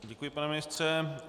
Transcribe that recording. Děkuji, pane ministře.